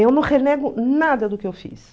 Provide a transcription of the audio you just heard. Eu não renego nada do que eu fiz.